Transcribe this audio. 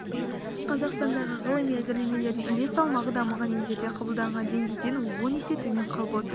қазақстандағы ғылыми әзірлемелердің үлес салмағы дамыған елдерде қабылданған деңгейден он есе төмен қалып отыр